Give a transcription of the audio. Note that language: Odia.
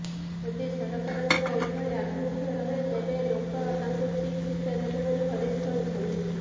ଯଦି ସରକାରଙ୍କର ଏଭଳି ଆଭିମୁଖ୍ୟ ରହେ ତେବେ ଲୋକ ତାଙ୍କୁ ଠିକ୍ ଶିକ୍ଷା ଦେବେ ବୋଲି ହରିସ କହିଛନ୍ତି